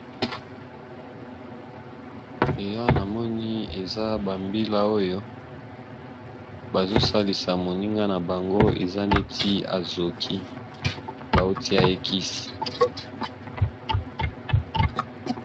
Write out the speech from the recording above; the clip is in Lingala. eya namoni eza bambila oyo bazosalisa moninga na bango eza neti azoki bauti ya ekisi